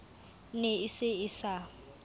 ne e se e sa